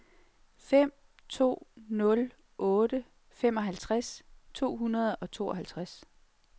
fem to nul otte femoghalvtreds to hundrede og toogtres